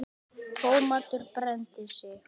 Thomas brenndi sig.